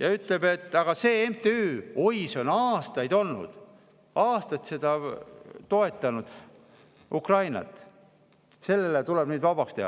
ja ütleb, et oi, see MTÜ on aastaid olnud, on aastaid Ukrainat toetanud, see tuleb nüüd vabastada.